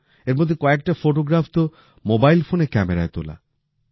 এর মধ্যে কয়েকটা ফটোগ্রাফ তো মোবাইল ফোনের ক্যামেরায় তোলা